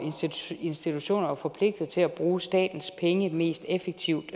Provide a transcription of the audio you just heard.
institutioner jo forpligtet til at bruge statens penge mest effektivt